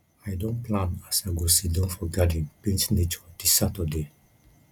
i don plan as i go siddon for garden paint nature dis saturday